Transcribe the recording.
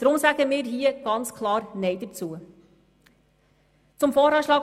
Deshalb sagen wir ganz klar Nein zu diesem Geschäft.